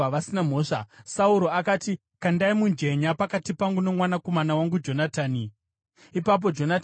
Sauro akati, “Kandai mujenya pakati pangu nomwanakomana wangu Jonatani.” Ipapo Jonatani akabatwa.